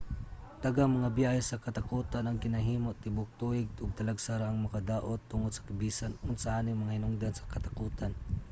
daghang mga biyahe sa katakotan ang ginahimo tibuok tuig ug talagsa ra ang mga kadaot tungod sa bisan unsa aning mga hinungdan sa katakotan